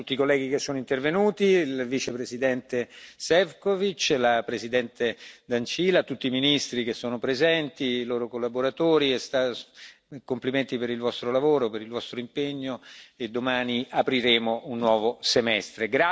Ringrazio tutti i colleghi che sono intervenuti, il vicepresidente Šefčovič, la Presidente Dăncilă, tutti i ministri che sono presenti e i loro collaboratori, complimenti per il vostro lavoro, per il vostro impegno, e domani apriremo un nuovo semestre.